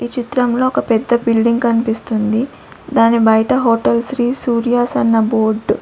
ఈ చిత్రంలో ఒక పెద్ద బిల్డింగ్ కనిపిస్తుంది దాని బయట హోటల్ శ్రీ సూర్యాస్ అన్న బోర్డ్ .